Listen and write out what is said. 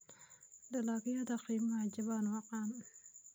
Dalagyada qiimaha jaban waa caan.